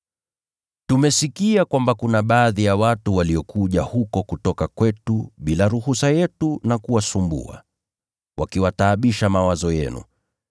Tumesikia kwamba kuna baadhi ya watu waliokuja huko kutoka kwetu bila ruhusa yetu na kuwasumbua, wakiyataabisha mawazo yenu.